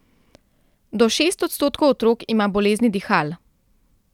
Do šest odstotkov otrok ima bolezni dihal.